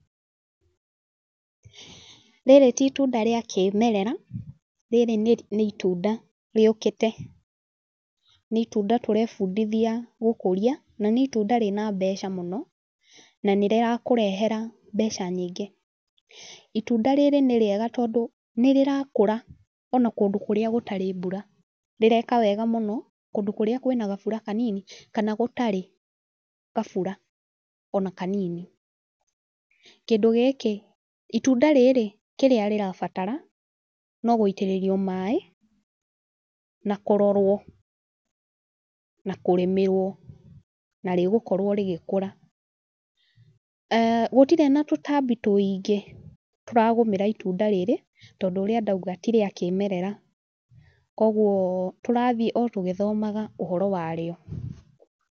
Rĩrĩ ti itunda rĩa kĩmerera, rĩrĩ nĩ nĩ itunda rĩũkĩte. Nĩ itunda tũrebundithia gũkũria, na nĩ itunda rĩna mbeca mũno, na nĩ rĩrakũrehera mbeca nyingĩ. Itunda rĩrĩ nĩ rĩega tondũ nĩ rĩrakũra ona kũndũ kũrĩa gũtarĩ mbura. Rĩreka wega mũno, kũndũ kũrĩa kwĩna gabura kanini, kana gũtarĩ gabura ona kanini. Kĩndũ gĩkĩ itunda rĩrĩ kĩrĩa rĩrabatara, no gũitĩrĩrio maaĩ, na kũrorwo, na kũrĩmĩrwo. Na rĩgũkorwo rĩgĩkũra. Gũtirĩ na tũtambi tũingĩ tũragũmĩra itunda rĩrĩ, tondũ ũrĩa ndauga ti rĩa kĩmerera kũguo tũrathiĩ o tũgĩthomaga ũhoro wa rĩo.